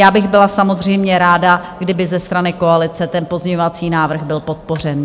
Já bych byla samozřejmě ráda, kdyby ze strany koalice ten pozměňovací návrh byl podpořen.